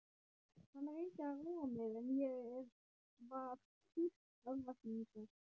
Hann reyndi að róa mig en ég var full örvæntingar.